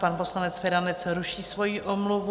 Pan poslanec Feranec ruší svoji omluvu.